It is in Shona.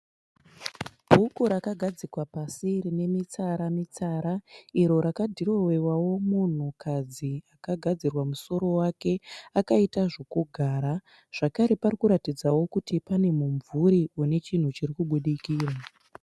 Bhuku rakagadzikwa pasi rine mitsara mitsara. Iro rakadhirowewao munhukadzi akagadzirwa musoro wake akaita zvokugara. Zvakare pane mumvuri une chinhu chirikubudikira.